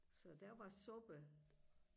så der var suppe